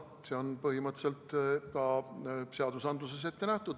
See on põhimõtteliselt ka seadustes ette nähtud.